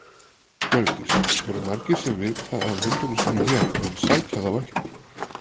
Hjördís: Eru margir sem vita af hundunum sínum hér en sækja þá ekki?